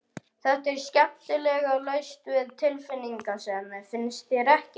Þetta er skemmtilega laust við tilfinningasemi, finnst þér ekki?